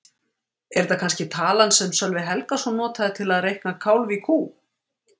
Er þetta kannske talan sem Sölvi Helgason notaði til að reikna kálf í kú?